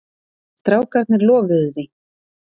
Strákarnir lofuðu því.